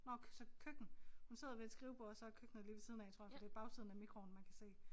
Nok så køkken. Hun sidder ved et skrivebord og så er køkkenet lige ved siden af tror jeg for det bagsiden af mikroovnen man kan se